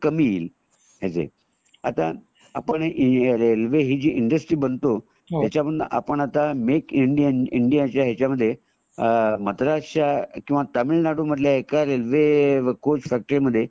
कामी येईल आता पण रेल्वे ही जी इंडस्ट्री म्हणतो त्याचमद्धे मेक इंडियन मेक इंडिया च्या ह्याचमध्ये मद्रास च्या कीव तामिळनाडू मधल्या एका रेल्वे कोच फॅक्टरी मध्ये